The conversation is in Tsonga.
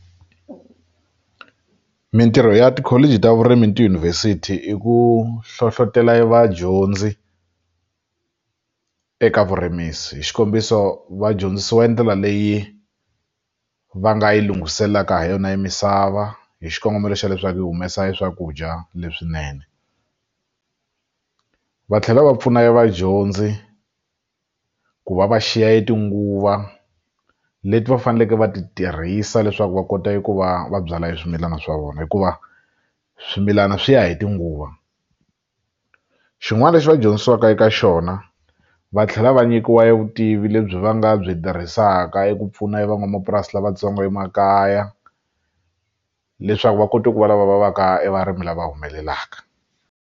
Mitirho ya tikholiji ta vurimi ni tiyunivhesiti i ku hlohlotelo vadyondzi eka vurimisi hi xikombiso va dyondzisiwa endlela leyi va nga yi lunghiselelaka ha yona e misava hi xikongomelo xa leswaku yi humesa eswakudya leswinene va tlhela va pfuna vadyondzi ku va va xiya e tinguva leti va faneleke va ti tirhisa leswaku va kota ku va va byala swimilana swa vona hikuva swimilana swi ya hi tinguva xin'wana lexi va dyondzisiwaka eka xona va tlhela va nyikiwa e vutivi lebyi va nga byi tirhisaka eku pfuna van'wamapurasi lavatsongo emakaya leswaku va kota ku va lava va va ka e varimi lava humelelaka.